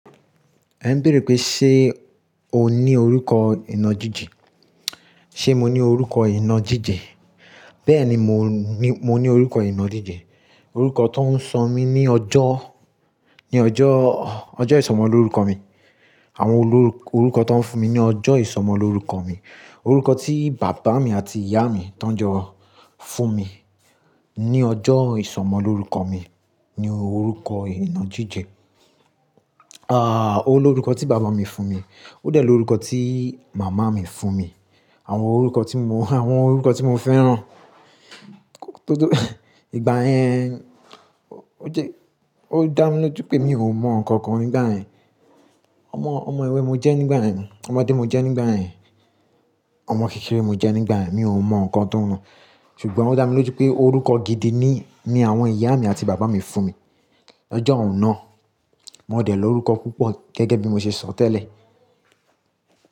Ẹ n béèrè pé, ṣe o ní orúkọ ìnajíjẹ? Ṣé mo ní orúkọ ìna jíjẹ? Bẹ́ẹ̀ni, mo ní, mo ní orúkọ ìnajíjẹ. Orúkọ tó ń sọ mí ní ọjọ́, ní ọjọ́, ọjọ́ ìsọmọ lórúkọ mi. Àwọn olórúkọ tó ń fún mi ní ọjọ́ ìsọmọ lórúkọ mi. Orúkọ tí bàbá mi àti ìyá mi tánjọ fún mi ní ọjọ́ ìsọmọ lórúkọ mi ni orúkọ ìnajíjẹ. Ah, ó lórúkọ tí bàbá mi fún mi, ó dẹ̀ lórúkọ tí màmá mi fún mi. Àwọn orúkọ tí mo, àwọn orúkọ tí mo fẹ́ràn. Ìgbà yẹn, ó jẹ́, ó dá mi lójú pé mi ò mọ ǹkan kan nígbà yẹn. Ọmọ, ọmọ ewe mo jẹ́ nígbà yẹn, ọmọdé mo jẹ́ nígbà yẹn, ọmọ kékeré mo jẹ́ nígbà yẹn. Mi ò mọ ǹkan tóhun lọ. Ṣùgbọ́n ó dá mi lójú pé orúkọ gidi ni, ni àwọn ìyá mi àti bàbá mi fún mi lọ́jọ́ un náà. Mo dẹ̀ lórúkọ púpọ̀ gẹ́gẹ́ bí mo ṣe sọ tẹ́lẹ̀.